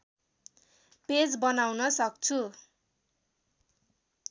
page बनाउन सक्छु